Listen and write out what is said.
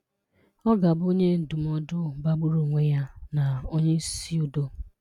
Ọ̀ ga-abụ́ Onye Ndùmọdụ́ magbùrụ́ onwe ya na Onyeisì Udò